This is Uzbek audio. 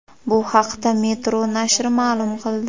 Bu haqda Metro nashri ma’lum qildi .